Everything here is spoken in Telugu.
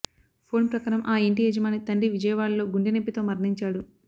ఫోన్ ప్రకారం ఆ ఇంటి యజమాని తండ్రి విజయవాడలో గుండెనొప్పితో మరణించాడు